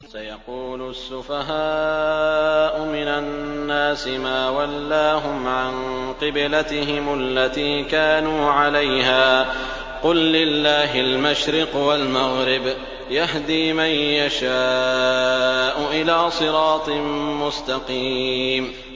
۞ سَيَقُولُ السُّفَهَاءُ مِنَ النَّاسِ مَا وَلَّاهُمْ عَن قِبْلَتِهِمُ الَّتِي كَانُوا عَلَيْهَا ۚ قُل لِّلَّهِ الْمَشْرِقُ وَالْمَغْرِبُ ۚ يَهْدِي مَن يَشَاءُ إِلَىٰ صِرَاطٍ مُّسْتَقِيمٍ